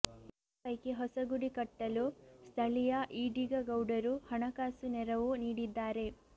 ಈ ಪೈಕಿ ಹೊಸಗುಡಿ ಕಟ್ಟಲು ಸ್ಥಳೀಯ ಈಡಿಗ ಗೌಡರು ಹಣಕಾಸು ನೆರವು ನೀಡಿದ್ದಾರೆ